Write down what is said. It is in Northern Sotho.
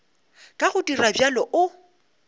ka go dira bjalo o